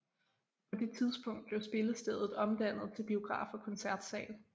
På det tidspunkt blev spillestedet omdannet til biograf og koncertsal